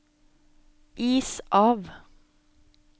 is av